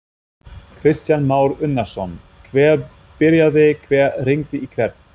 Kristján Már Unnarsson: Hver byrjaði, hver hringdi í hvern?